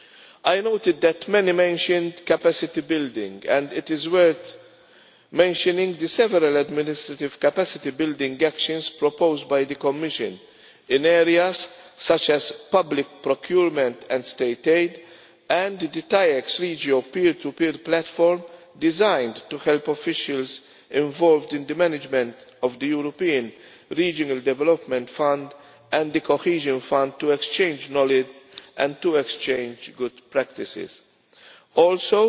I noted that many mentioned capacity building, and it is worth mentioning the several administrative capacity building actions proposed by the Commission in areas such as public procurement and state aid and the TAIEX REGIO Peer 2 Peer platform designed to help officials involved in the management of the European Regional Development Fund and the Cohesion Fund to exchange knowledge and to exchange good practices. Also,